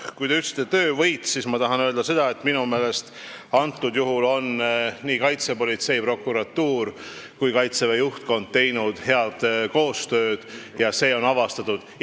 Kui te ütlesite sõna "töövõit", siis ma tahan öelda seda, et minu meelest praegusel juhul on kaitsepolitsei, prokuratuur ja Kaitseväe juhtkond teinud head koostööd ning kuritegu on avastatud.